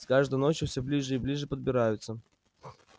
с каждой ночью все ближе и ближе подбираются